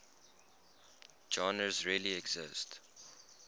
genres really exist